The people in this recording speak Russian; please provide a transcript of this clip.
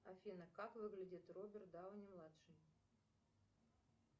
афина как выглядит роберт дауни младший